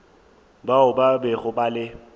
bao ba bego ba le